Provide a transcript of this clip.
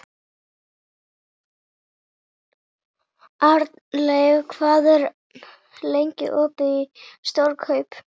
Arnleif, hvað er lengi opið í Stórkaup?